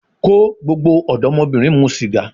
Ko gbogbo odomobirin mu siga